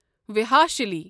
وحاشلی